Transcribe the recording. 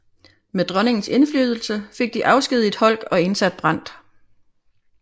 Med dronningens indflydelse fik de afskediget Holck og indsat Brandt